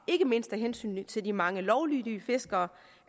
ikke mindst af hensyn til de mange lovlydige fiskere